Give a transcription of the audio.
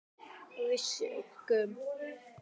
Og við sukkum.